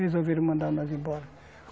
Resolveram mandar nós embora.